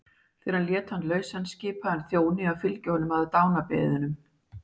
Þegar hann lét hann lausan skipaði hann þjóni að fylgja honum að dánarbeðinum.